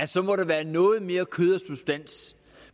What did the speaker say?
så må der være noget mere kød